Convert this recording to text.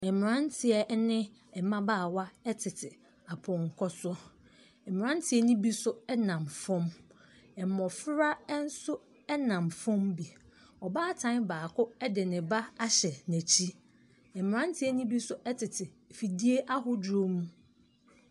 Mmranteɛ ɛne mmabaawa ɛtete apɔnkɔ so mmranteɛ no bi nso ɛnam fɔm ɛmmofra nso ɛnam fɔm bi ɔbaatan baako ɛde ne ba ahyɛ nakyi ɛmranteɛ no bi nso ɛtete fidie ahodoɔ mu.